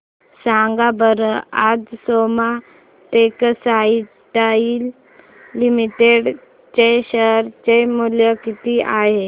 सांगा बरं आज सोमा टेक्सटाइल लिमिटेड चे शेअर चे मूल्य किती आहे